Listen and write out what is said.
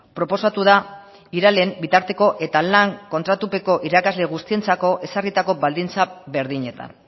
proposatu da iralen bitarteko eta lan kontratupeko irakasle guztientzako ezarritako baldintza berdinetan